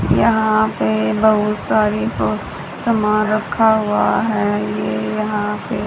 यहां पे बहुत सारे सामान रखा हुआ है ये यहा पे--